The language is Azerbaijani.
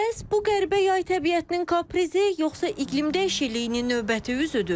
Bəs bu qəribə yay təbiətinin kaprizi yoxsa iqlim dəyişikliyinin növbəti üzüdür?